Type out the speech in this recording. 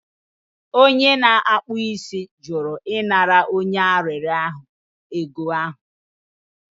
Onye na-akpụ isi jụrụ ịnara onye arịrịọ ahụ ego ahụ